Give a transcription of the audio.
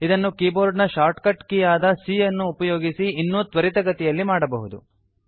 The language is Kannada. ಇದನ್ನು ಕಿಬೊರ್ಡ್ ನ ಶಾರ್ಟ್ ಕಟ್ ಕೀ ಆದ c ಯನ್ನು ಉಪಯೋಗಿಸಿ ಇನ್ನೂ ತ್ವರಿತಗತಿಯಲ್ಲಿ ಮಾಡಬಹುದು